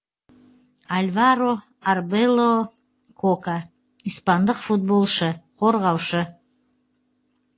альваро арбело кока испандық футболшы қорғаушы